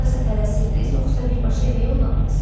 Harasa tələsirdiz, yoxsa birbaşa evə yollandız?